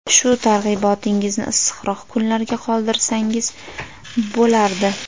Shu targ‘ibotingizni issiqroq kunlarga qoldirsangiz bo‘lardi.